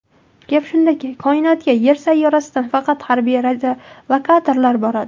Gap shundaki, koinotga Yer sayyorasidan faqat harbiy radiolokatorlar boradi.